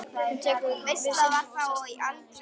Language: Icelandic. Hún tekur við syninum og sest með hann í sófann.